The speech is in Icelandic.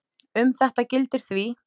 Um þetta gildir því